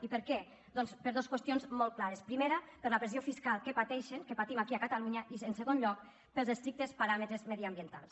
i per què doncs per dos qüestions molt clares primera per la pressió fiscal que pateixen que patim aquí a catalunya i en segon lloc pels es·trictes paràmetres mediambientals